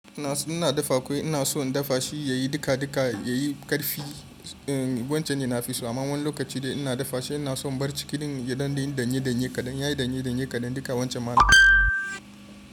Ina, ina dafa kwai ina so in dafa shi yayi duka duka yayi karfi. Wancan ne nafi so, amma wani lokaci da ina dafa shi ina son bar cikin gidan don yayi danye danye kadan, yayi danye danye kadan duka wancan malamci.